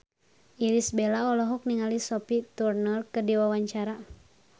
Irish Bella olohok ningali Sophie Turner keur diwawancara